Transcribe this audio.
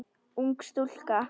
Ung stúlka.